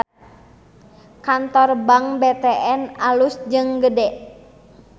Kantor Bank BTN alus jeung gede